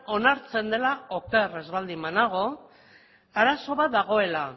onartzen dela oker baldin ez banago arazo bat dagoela